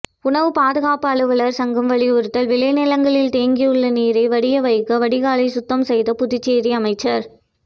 உணவு பாதுகாப்பு அலுவலர்கள் சங்கம் வலியுறுத்தல் விளைநிலங்களில் தேங்கியுள்ள நீரை வடிய வைக்க வடிகாலை சுத்தம் செய்த புதுச்சேரி அமைச்சர்